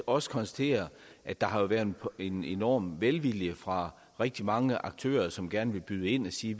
også konstatere at der har været en enorm velvilje fra rigtig mange aktører som gerne vil byde ind og sige